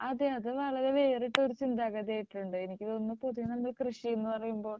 അതെ അത് വളരെ വേറിട്ടൊരു ചിന്താഗതി ആയിട്ടുണ്ട് എനിക്ക് തോന്നുന്നു പൊതുവേ നമ്മൾ കൃഷി എന്ന് പറയുമ്പോൾ